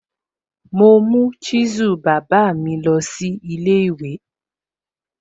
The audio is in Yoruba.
Mo mú chisel bàbá mi lọ sí ilé ìwé.